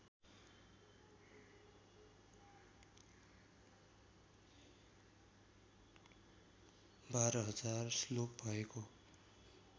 १२००० श्लोक भएको